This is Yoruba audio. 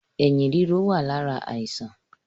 Ẹyin ríro wá lára àìsàn